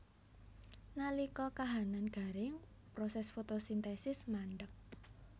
Nalika kahanan garing proses fotosintesis mandheg